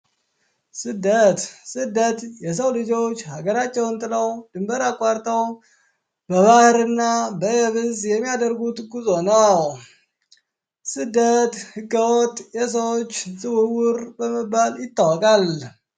ስደት ስደት የሰው ልጆች ሀገራቸውን ጥለው ድንበር አቋርጠው በባህር እና በየብስ የማያደርጉት ጉዞ ነው። ስደት ህገወጥ የሰዎች ዝውውር በመባል ይታወቃል።